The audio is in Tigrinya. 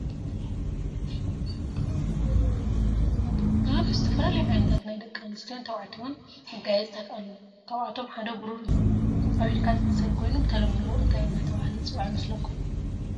ዝተፈላለዩ ዓይነታት ናይ ደቂ ተባዕትዮን ናይ ደቂ አንስትዮ መጋየፅታት አለው ካብአቶም ሓደ ብሩሩ እዩ። አብ ኢድካ ዝእሰር ኮይኑ ብተለምዶ እንታይ እናተባህለ ዝፅዋዕ ይመስለኩም?